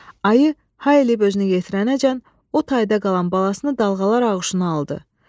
Ayı hay eləyib özünə yetirəcən o tayda qalan balasını dalğalar ağuşuna aldı.